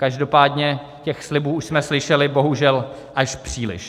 Každopádně těch slibů už jsme slyšeli bohužel až příliš.